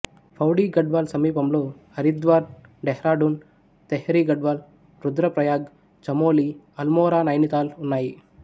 పౌడీ గఢ్వాల్ సమీపంలో హరిద్వార్ డెహ్రాడూన్ తెహ్రి గఢ్వాల్ రుద్రప్రయాగ్ చమోలి అల్మోరా నైనీతాల్ ఉన్నాయి